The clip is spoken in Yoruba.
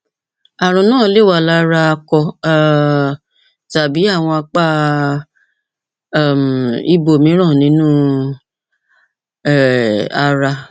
ààrùn náà lè wà lára akọ um tàbí àwọn apá um ibòmíràn nínú um ara